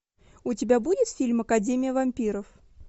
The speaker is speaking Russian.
у тебя будет фильм академия вампиров